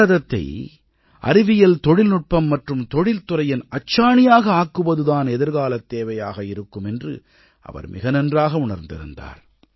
பாரதத்தை அறிவியல் தொழில்நுட்பம் மற்றும் தொழில்துறையின் அச்சாணியாக ஆக்குவது தான் எதிர்காலத் தேவையாக இருக்குமென்று அவர் மிக நன்றாக உணர்ந்திருந்தார்